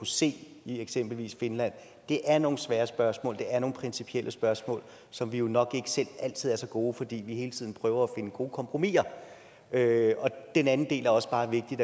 se i eksempelvis finland det er nogle svære spørgsmål det er nogle principielle spørgsmål som vi jo nok ikke selv altid er så gode til fordi vi hele tiden prøver at finde gode kompromisser den anden del er også bare vigtig